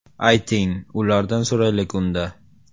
Ayting, ulardan so‘raylik unda!